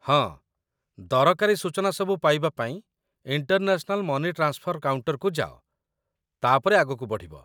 ହଁ, ଦରକାରୀ ସୂଚନାସବୁ ପାଇବା ପାଇଁ ଇଣ୍ଟରନ୍ୟାସନାଲ ମନି ଟ୍ରାନ୍ସଫର କାଉଣ୍ଟର୍‌କୁ ଯାଅ, ତା'ପରେ ଆଗକୁ ବଢ଼ିବ।